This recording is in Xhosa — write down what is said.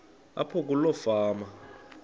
apho kuloo fama